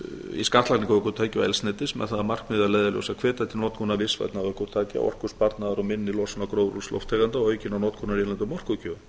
í skattlagningu ökutækja og eldsneytis með það að markmiði að leiðarljósi að hvetja til notkunar vistvænna ökutækja og orkusparnaðar og minni losunar gróðurhúsalofttegunda og aukinnar notkunar á innlendum orkugjöfum